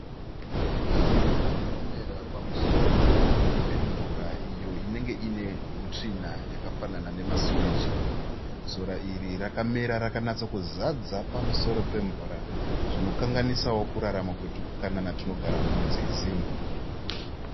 Sora rinomera pamusoro pemvura iyo inenge inenge ine hutsvina yakafanana nema suweji. Sora iri rakamera rakanyatsokuzadza pamusoro pemvura zvinokanganisawo kurarama kwetwupukanana twunogara munzizi.